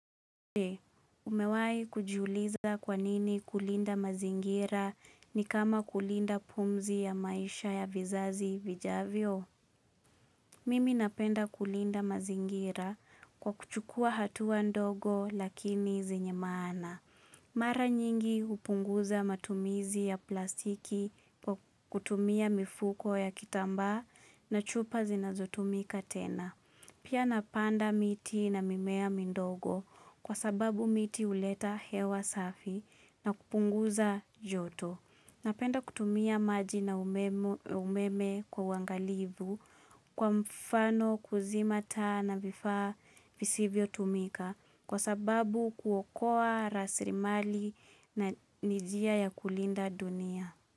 Umewai kujiuliza kwanini kulinda mazingira ni kama kulinda pumzi ya maisha ya vizazi vijavyo? Mimi napenda kulinda mazingira kwa kuchukua hatua ndogo lakini zenyemaana. Mara nyingi upunguza matumizi ya plastiki kutumia mifuko ya kitamba na chupa zinazotumika tena. Pia napanda miti na mimea mindogo kwa sababu miti uleta hewa safi na kupunguza joto. Napenda kutumia maji na umemo umeme kwa uangalivu kwa mfano kuzima taa na vifaa visivyo tumika kwa sababu kuokoa rasirimali na nijia ya kulinda dunia.